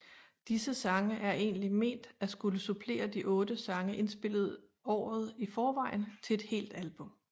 Disse sange er egentlig ment at skulle supplere de 8 sange indspillet året i forvejen til et helt album